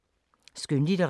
Skønlitteratur